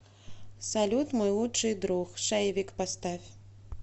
салют мой лучший друг шейвик поставь